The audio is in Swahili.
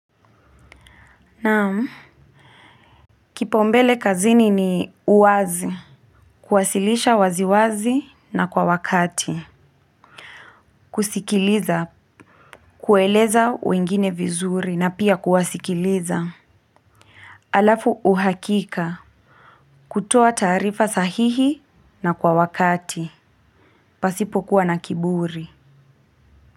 Naam, kipaumbele kazini ni uwazi, kuwasilisha waziwazi na kwa wakati, kusikiliza, kueleza wengine vizuri na pia kuwasikiliza, alafu uhakika, kutoa taarifa sahihi na kwa wakati, pasipo kuwa na kiburi.